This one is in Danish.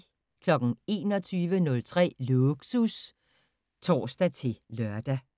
21:03: Lågsus (tor-lør)